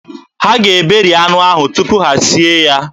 Ha ga-eberi anụ ahụ tupu ha e sie ya